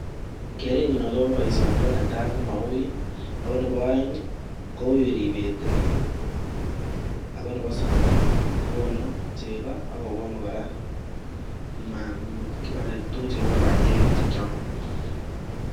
Kerenyun akoba baishenyun netai komaui ako Nebo aeng koui Tibet inei ako Nebo somok kokonu chegoakokonu koraa tuguk chekibare banye